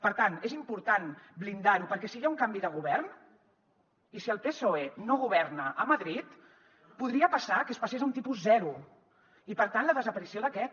per tant és important blindar ho perquè si hi ha un canvi de govern i si el psoe no governa a madrid podria passar que es passés a un tipus zero i per tant la desaparició d’aquest